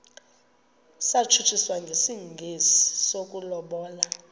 satshutshiswa njengesi sokulobola